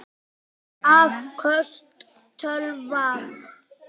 Afköst tölva